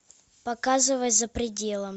показывай за пределом